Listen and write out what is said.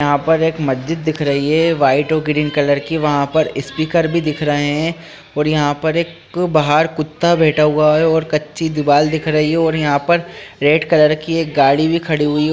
यहाँ पर एक मस्जिद दिख रही है वाइट और ग्रीन कलर की वहाँ पर स्पीकर भी दिख रहे हैं और यहाँ पर एक बाहर कुत्ता बैठा हुआ है कच्ची दीवाल दिख रही है यहाँ पर और रेड कलर की एक गाड़ी भी खड़ी हुई है।